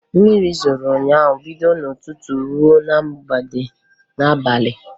Mmiri zoro ụnyaahụ bido n'ụtụtụ ruo n'abalị